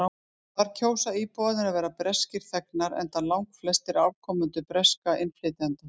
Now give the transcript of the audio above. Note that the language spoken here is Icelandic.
þar kjósa íbúarnir að vera breskir þegnar enda langflestir afkomendur breskra innflytjenda